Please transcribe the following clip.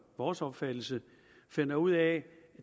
vores opfattelse finder ud af at